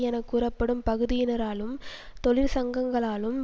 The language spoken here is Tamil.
என கூறப்படும் பகுதியினராலும் தொழிற்சங்கங்களாலும்